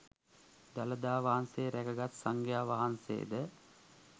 දළදා වහන්සේ රැකගත් සංඝයා වහන්සේ ද